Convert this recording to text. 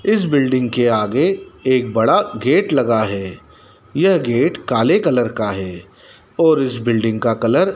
इस बिल्डिंग के आगे एक बड़ा गेट लगा है यह गेट काले कलर का है और इस बिल्डिंग का कलर --